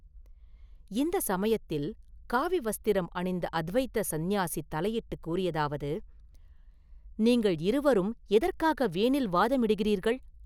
இந்தச் சமயத்தில் காவி வஸ்திரம் அணிந்த அத்வைத சந்நியாசி தலையிட்டுக் கூறியதாவது: “நீங்கள் இருவரும் எதற்காக வீணில் வாதம் இடுகிறீர்கள்?